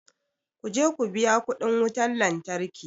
Ku je ku biya kuɗin wutar lantarki.